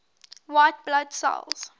white blood cells